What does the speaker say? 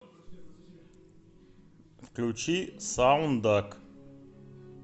включи саундак